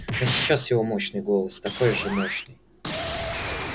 но сейчас его мощный голос такой же мощный